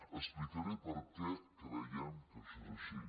explicaré per què creiem que això és així